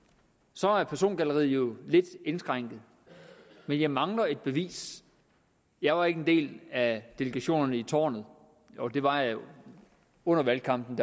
så er persongalleriet jo lidt indskrænket men jeg mangler et bevis jeg var ikke en del af delegationen i tårnet jo det var jeg under valgkampen